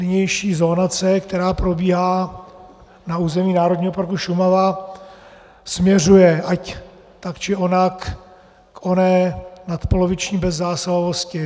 Nynější zonace, která probíhá na území Národního parku Šumava, směřuje ať tak či onak k oné nadpoloviční bezzásahovosti.